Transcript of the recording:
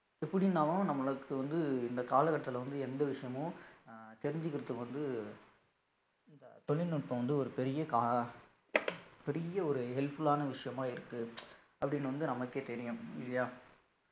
எப்படினாலும் நம்மளுக்கு வந்து இந்த கால கட்டத்துல வந்து எந்த விஷயமும் அஹ் தெரிஞ்சுக்கிறதுக்கு வந்து இதா தொழில்நுட்பம் வந்து ஒரு பெரிய கா~ பெரிய ஒரு helpful ஆன விஷயமா இருக்கு அப்படின்னு வந்து நமக்கே தெரியும் இல்லையா